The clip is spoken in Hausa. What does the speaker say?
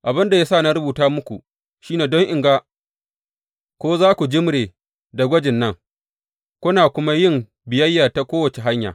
Abin da ya sa na rubuta muku shi ne don in ga ko za ku jimre da gwajin nan, kuna kuma yin biyayya ta kowace hanya.